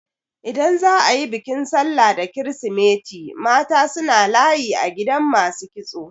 Idan za a yi bikin sallah da kirisimeti mata suna layi a gidan masu kitso.